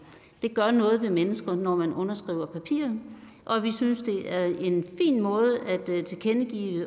det gør noget ved mennesker når man underskriver papirer og vi synes det er en fin måde at tilkendegive